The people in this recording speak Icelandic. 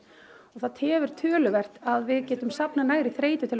og það tefur töluvert að við getum safnað nægri þreytu